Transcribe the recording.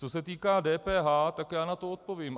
Co se týká DPH, tak já na to odpovím.